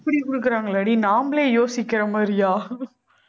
அப்படி கொடுக்குறாங்களாடி நாமளே யோசிக்கிற மாதிரியா